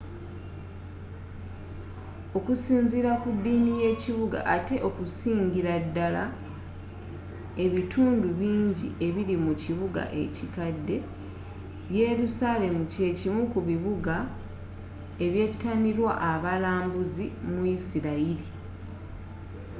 okusinzira ku ddini y'ekibuga atte okusingira ddala ebitundu bingi ebiri mu kibuga ekikadde yelusalemu kye kimu ku bibuga ebyetanirwa abalambuzi mu yisirayiri